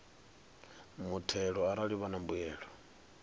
muthelo arali vha na mbuyelo